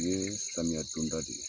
O ye samiya don da de ye.